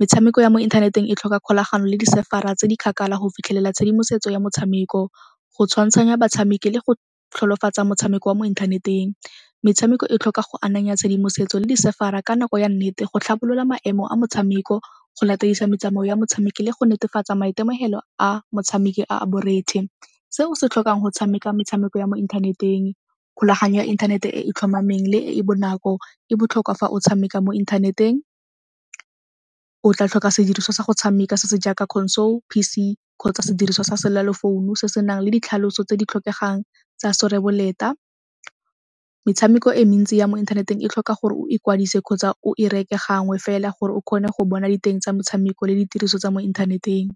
Metshameko ya mo inthaneteng e tlhoka kgolagano le di-server-a tse di kgakala go fitlhelela tshedimosetso ya motshameko, go tshwantshanya batshameki le go motshameko wa mo inthaneteng. Metshameko e tlhoka go ananya tshedimosetso le di-server-a ka nako ya nnete go tlhabolola maemo a motshameko, go latedisa metsamao ya motshameko le go netefatsa maitemogelo a motshameki a a borethe. Se o se tlhokang go tshameka metshameko ya mo inthaneteng, kgolaganyo ya inthanete e e tlhomameng le e e bonako e botlhokwa fa o tshameka mo inthaneteng, o tla tlhoka sediriswa sa go tshameka se se jaaka console, P_C kgotsa sediriswa sa se senang le ditlhaloso tse di tlhokegang tsa . Metshameko e mentsi ya mo inthaneteng e tlhoka gore o ikwadise kgotsa o e reke gangwe fela gore o kgone go bona diteng tsa motshameko le ditiriso tsa mo inthaneteng.